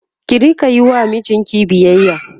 ki Rika Yi wa mijinki biyayya